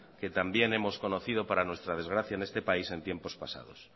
que también hemos conocido para nuestra desgracia en este país en tiempos pasados